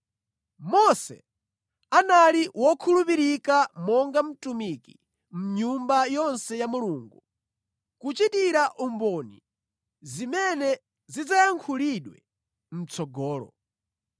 Mose anali wokhulupirika monga mtumiki mʼnyumba yonse ya Mulungu, kuchitira umboni zimene zidzayankhulidwe mʼtsogolo.